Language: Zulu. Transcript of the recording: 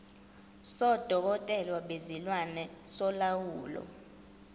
sodokotela bezilwane solawulo